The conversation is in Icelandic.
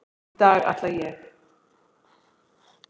Í dag ætla ég.